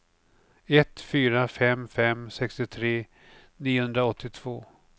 ett fyra fem fem sextiotre niohundraåttiotvå